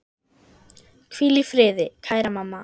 Hvíl í friði, kæra mamma.